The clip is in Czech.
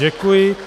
Děkuji.